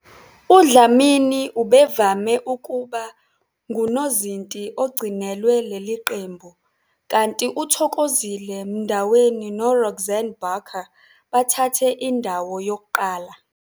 UDlamini ubevame ukuba ngunozinti ogcinelwe leli qembu, kanti uThokozile Mndaweni noRoxanne Barker bathathe indawo yokuqala.